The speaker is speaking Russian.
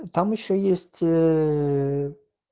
там ещё есть